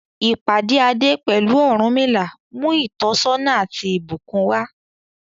Ìpàdé Ade pẹ̀lú Ọ̀rúnmìlà mú ìtọ́sọ́nà àti ìbùkún wá.